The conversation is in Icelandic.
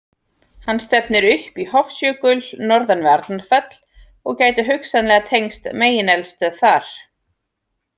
Hann stefnir upp í Hofsjökul norðan við Arnarfell og gæti hugsanlega tengst megineldstöð þar.